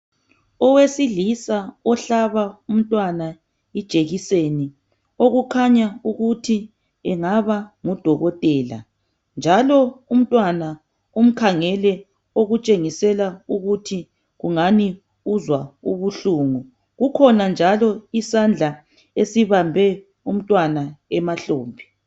Owesilisa ohlaba umntwana ijekiseni okukhanya ukuthi engaba ngudokotela njalo umntwana umkhangele okutshengisela ukuthi kungani uzwa ubuhlungu kukhona njalo isandla esibambe umntwana emahlombe.